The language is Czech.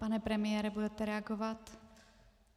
Pane premiére, budete reagovat?